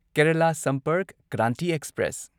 Kerala Sampark Kranti express